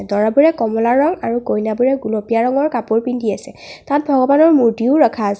দৰাবোৰে কমলা ৰং আৰু কইনাবোৰে গুলপীয়া ৰঙৰ কাপোৰ পিন্ধি আছে তাত ভগৱানৰ মূৰ্তিও ৰখা আছে।